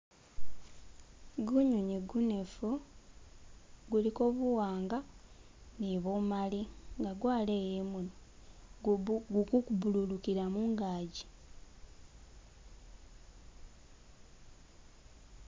Gunyonyi gunefu guliko buwanga ni bumali nga gwaleya imunwa gugu bululukilla mungaki